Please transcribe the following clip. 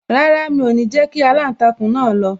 Rárá, mi o ni jẹ kí aláǹtakùn náà lọ